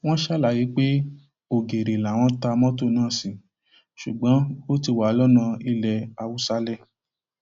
wọn ṣàlàyé pé ògèrè làwọn ta mọtò náà sí ṣùgbọn ó ti wà lọnà ilẹ haúsálẹ